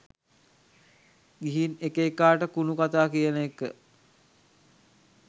ගිහින් එක එකාට කුණු කතා කියන එක